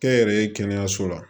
Kɛnyɛrɛye kɛnɛyaso la